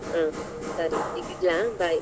ಹ ಸರಿ ಈಗ ಇಡ್ಲಾ Bye .